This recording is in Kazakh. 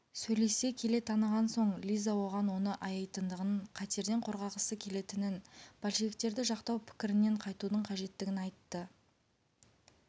сөйлесе келе таныған соң лиза оған оны аяйтындығын қатерден қорғағысы келетінін большевиктерді жақтау пікірінен қайтудың қажеттігін айтты